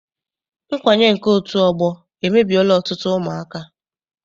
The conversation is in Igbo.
Nkwanye nke otu ọgbọ emebiela ọtụtụ ụmụaka.